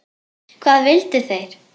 Hvað vildu þeir?